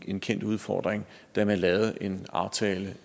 en kendt udfordring da man lavede en aftale